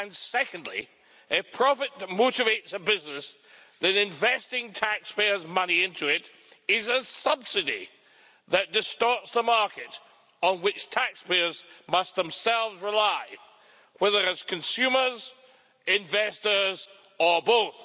Secondly, a profit that motivates a business that is investing taxpayers' money into it is a subsidy that distorts the market on which taxpayers must themselves rely, whether it is consumers, investors or both.